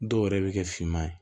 Dɔw yɛrɛ bɛ kɛ finman ye